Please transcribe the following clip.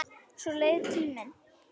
Svo leið tíminn.